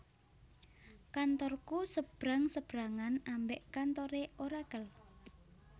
Kantorku sebrang sebrangan ambek kantore Oracle